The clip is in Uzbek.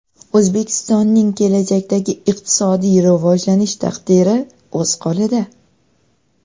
O‘zbekistonning kelajakdagi iqtisodiy rivojlanish taqdiri o‘z qo‘lida.